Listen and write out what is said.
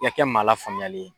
I ka kɛ maala faamuyalen ye